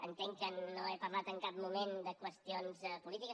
entenc que no he parlat en cap moment de qüestions polítiques